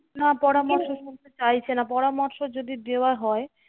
না পরামর্শ নিতে চাইছে না। পরামর্শ যদি দেওয়া হয়,